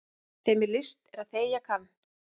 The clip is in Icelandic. Þeim er list er þegja kann.